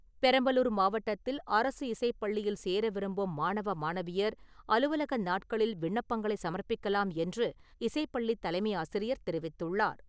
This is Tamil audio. பெரம்பலூர் மாவட்டத்தில் அரசு இசைப்பள்ளியில் சேர விரும்பும் மாணவ, மாணவியர் அலுவலக நாட்களில் விண்ணப்பங்களை சமர்ப்பிக்கலாம் என்று இசைப்பள்ளி தலைமை ஆசிரியர் தெரிவித்துள்ளார்.